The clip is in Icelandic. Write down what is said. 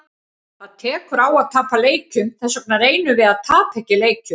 Það tekur á að tapa leikjum, þessvegna reynum við að tapa ekki leikjum.